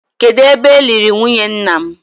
Kedụ ebe e liri nwunye nna m?